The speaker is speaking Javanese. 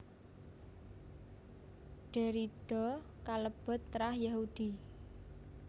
Derrida kalebet trah Yahudi